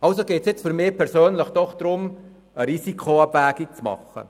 Also geht es für mich jetzt darum, eine Risikoabwägung vorzunehmen.